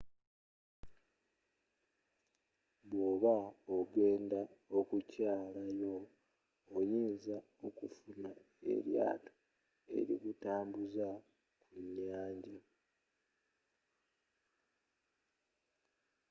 bw'oba ogenda okukyalayo oyinza okufunayo eryaato erikutambuza ku nyanja